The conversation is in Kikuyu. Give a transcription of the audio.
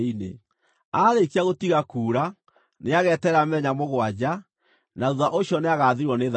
“ ‘Aarĩkia gũtiga kuura, nĩageterera mĩthenya mũgwanja, na thuutha ũcio nĩagathirwo nĩ thaahu.